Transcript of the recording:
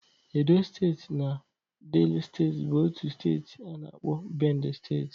Edo steeti na Dela steeti bụ otu steeti a na-akpọ Bendel steeti